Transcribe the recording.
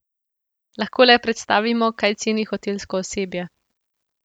Lahko le predstavimo, kaj ceni hotelsko osebje.